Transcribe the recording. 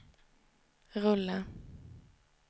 rulla